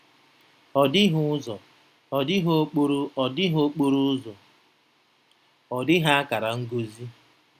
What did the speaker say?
Ọ dịghị ụzọ, ọ dịghị okporo ọ dịghị okporo ụzọ, ọ dịghị akara ngosi.